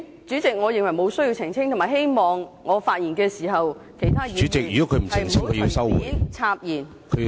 主席，我認為沒有需要澄清，而且希望我發言時，其他議員不要隨便插言。